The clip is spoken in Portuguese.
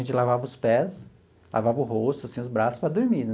A gente lavava os pés, lavava o rosto, assim, os braços, para dormir né.